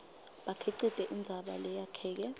bukhicite indzaba leyakheke